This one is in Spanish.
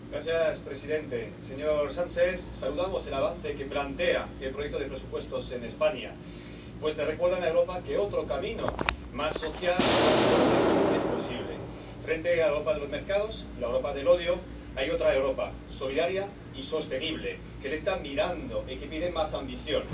Señor Presidente. Señor Sánchez, saludamos el avance que plantea el proyecto de presupuestos en España, pues le recuerdan a Europa que otro camino, más social, más ecológico, es posible. Frente a la Europa de los mercados y a la Europa del odio, hay otra Europa solidaria y sostenible que le está mirando y que pide más ambición.